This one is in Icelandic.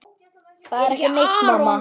Það er ekki neitt, mamma.